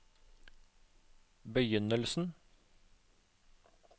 begynnelsen